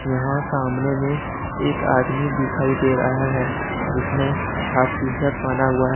यहां सामने में एक आदमी दिखाई दे रहा है जिसने हॉफ टी शर्ट पहना हुआ है।